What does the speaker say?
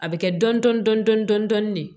A bɛ kɛ dɔn dɔn dɔn dɔn dɔn dɔn dɔn dɔn de